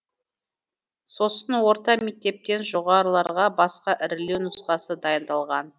сосын орта мектептен жоғарыларға басқа ірілеу нұсқасы дайындалған